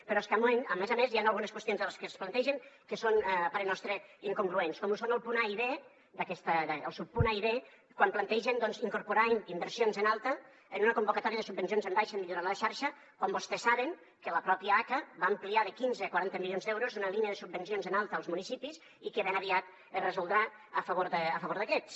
però és que a més a més hi han algunes qüestions de les que es plantegen que són a parer nostre incongruents com són els punts a i versions en alta en una convocatòria de subvencions en baixa de millora a la xarxa quan vostès saben que la pròpia aca va ampliar de quinze a quaranta milions d’euros una línia de subvencions en alta als municipis i que ben aviat es resoldrà a favor d’aquests